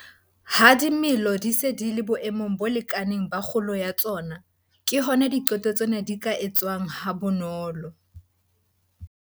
Ha dimela kaofela di se di le boemong bo lekanang ba kgolo ya tsona, ke hona diqeto tsena di ka etswang ha bonolo.